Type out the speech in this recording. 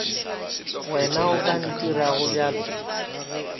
wena o ka ntirago bjalo